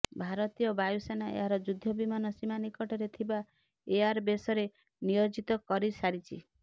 ଭାରତୀୟ ବାୟୁସେନା ଏହାର ଯୁଦ୍ଧ ବିମାନ ସୀମା ନିକଟରେ ଥିବା ଏୟାରବେସରେ ନିୟୋଜିତ କରିସାରିଛି